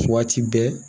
Waati bɛɛ